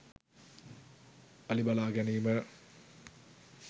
අලි බලා ගැනීම